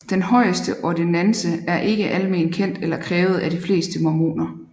Den højeste ordinance er ikke alment kendt eller krævet af de fleste mormoner